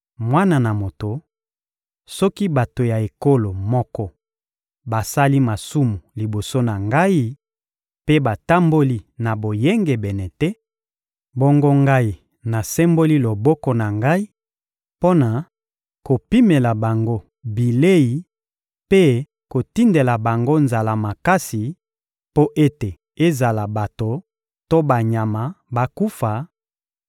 «Mwana na moto, soki bato ya ekolo moko basali masumu liboso na Ngai mpe batamboli na boyengebene te, bongo Ngai nasemboli loboko na Ngai mpo na kopimela bango bilei mpe kotindela bango nzala makasi mpo ete ezala bato to banyama bakufa,